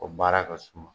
O baara ka suma